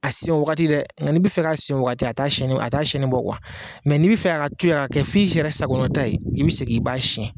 A siyɛnn o wagati dɛ nga n'i bi fɛ ka sɛn o wagati a t'a sɛn ni a t'a sɛni bɔ kuwa mɛ n'i bi fɛ a ka to yen a ka kɛ f'i yɛrɛ sakɔnata ye i bi segin i b'a sɛn